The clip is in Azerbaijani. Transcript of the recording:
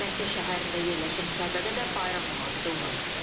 Məkkə şəhərində yerləşən Kəbədə də bayram namazı qılınıb.